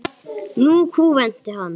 Nú kúventi hann.